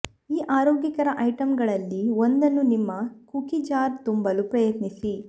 ಈ ಆರೋಗ್ಯಕರ ಐಟಂಗಳಲ್ಲಿ ಒಂದನ್ನು ನಿಮ್ಮ ಕುಕೀ ಜಾರ್ ತುಂಬಲು ಪ್ರಯತ್ನಿಸಿ